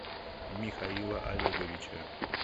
михаила олеговича